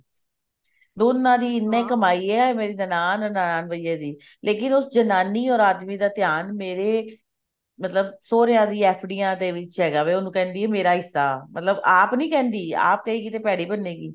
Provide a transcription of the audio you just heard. ਦੋਨਾ ਦੀ ਇੰਨੀ ਕਮਾਈ ਹੈ ਮੇਰੀ ਨਨਾਣ or ਨਨਾਣ ਭਈਆ ਦੀ ਲੇਕਿਨ ਉਸ ਜਨਾਨੀ or ਆਦਮੀ ਦਾ ਧਿਆਨ ਮੇਰੇ ਮਤਲਬ ਸੋਹਰਿਆਂ ਦੀ FD ਦੇ ਵਿੱਚ ਹੈਗਾ ਵੀ ਉਹਨੂੰ ਕਹਿੰਦੀ ਮੇਰਾ ਹਿੱਸਾ ਮਤਲਬ ਆਪ ਨੀ ਕਹਿੰਦੀ ਆਪ ਕਹੇਗੀ ਤਾਂ ਭੇੜੀ ਮੰਨੇ ਗਈ